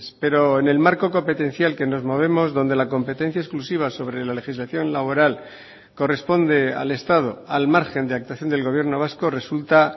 pero en el marco competencial que nos movemos donde la competencia exclusiva sobre la legislación laboral corresponde al estado al margen de actuación del gobierno vasco resulta